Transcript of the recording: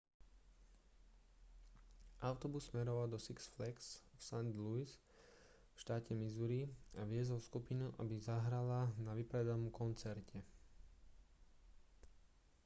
autobus smeroval do six flags v st louis v štáte missouri a viezol skupinu aby zahrala na vypredanom koncerte